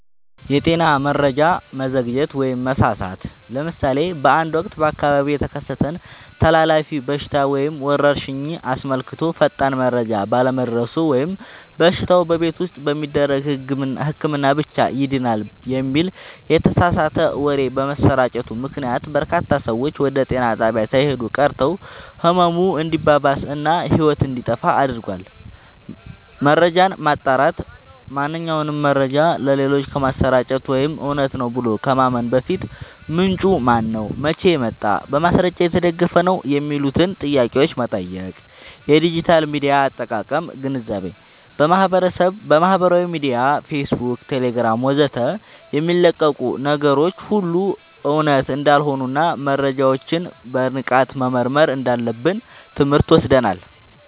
የጤና መረጃ መዘግየት/መሳሳት፦ ለምሳሌ በአንድ ወቅት በአካባቢው የተከሰተን ተላላፊ በሽታ ወይም ወረርሽኝ አስመልክቶ ፈጣን መረጃ ባለመድረሱ ወይም በሽታው "በቤት ውስጥ በሚደረግ ህክምና ብቻ ይድናል" የሚል የተሳሳተ ወሬ በመሰራጨቱ ምክንያት፣ በርካታ ሰዎች ወደ ጤና ጣቢያ ሳይሄዱ ቀርተው ህመሙ እንዲባባስ እና ህይወት እንዲጠፋ አድርጓል። መረጃን ማጣራት፦ ማንኛውንም መረጃ ለሌሎች ከማሰራጨት ወይም እውነት ነው ብሎ ከማመን በፊት፣ "ምንጩ ማነው? መቼ ወጣ? በማስረጃ የተደገፈ ነው?" የሚሉትን ጥያቄዎች መጠየቅ። የዲጂታል ሚዲያ አጠቃቀም ግንዛቤ፦ በማህበራዊ ሚዲያ (ፌስቡክ፣ ቴሌግራም ወዘተ) የሚለቀቁ ነገሮች ሁሉ እውነት እንዳልሆኑና መረጃዎችን በንቃት መመርመር እንዳለብን ትምህርት ወስደናል።